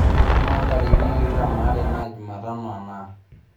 amaa intarikini tikitam aare naa jumatano enaa